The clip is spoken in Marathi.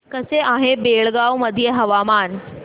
कसे आहे बेळगाव मध्ये हवामान